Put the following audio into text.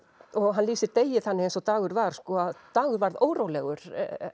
hann lýsir Degi þannig eins og Dagur var að Dagur varð órólegur